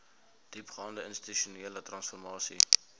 diepgaande institusionele transformasie